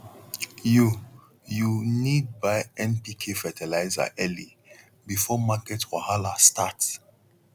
you you need buy npk fertilizer early before market wahala start